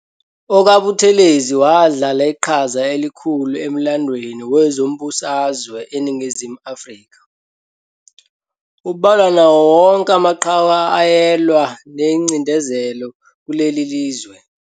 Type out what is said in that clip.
OkaButhelezi wadlala iqhaza elikhulu emlandweni wezombusazwe eNingizimu Afrika, ubalwa nawo wonke amaqhawe ayelwa nengcindezelo kulo lelizwe.